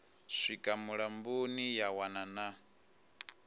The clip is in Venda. swika mulamboni ya wana na